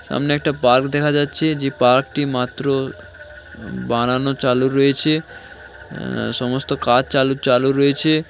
সামনে একটা পার্ক দেখা যাচ্ছে যে পার্ক টি মাত্র বানানো চালু রয়েছে অ্যা সমস্ত কাজ চালু চালু রয়েছে।